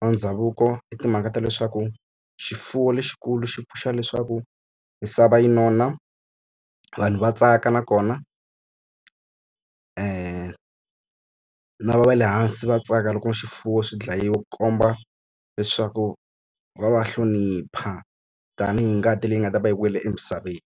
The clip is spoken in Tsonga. wa ndhavuko i timhaka ta leswaku, xifuwo lexikulu xi pfuxa leswaku misava yi nona, vanhu va tsaka nakona na va le hansi va tsaka loko swifuwo swi dlayiwa komba leswaku va va hlonipha. Tanihi ngati leyi nga ta va yi wile emisaveni.